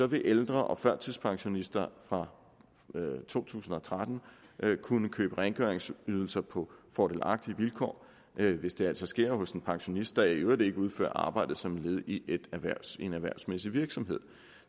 vil ældre og førtidspensionister fra to tusind og tretten kunne købe rengøringsydelser på fordelagtige vilkår hvis det altså sker hos en pensionist der i øvrigt ikke udfører arbejdet som led i en erhvervsmæssig virksomhed